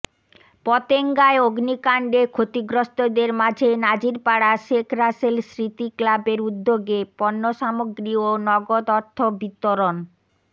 পতেঙ্গায় অগ্নিকাণ্ডে ক্ষতিগ্রস্থদের মাঝে নাজিরপাড়া শেখ রাসেল স্মৃতি ক্লাবের উদ্যোগে পণ্যসামগ্রী ও নগদ অর্থ বিতরণ